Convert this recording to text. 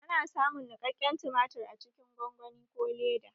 Ana samun niƙaƙƙen tumatir a cikin gongoni ko leda